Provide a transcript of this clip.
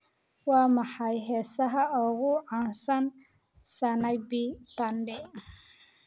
waa maxay heesaha ugu caansan sanaipei tande